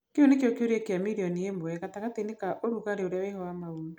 Kĩu nĩkĩo kĩũria kĩa mirioni ĩmwe gatagatĩinĩ ka ũrugarĩ ũrĩa wĩho wa maũndũ.